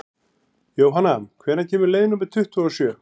Jónanna, hvenær kemur leið númer tuttugu og sjö?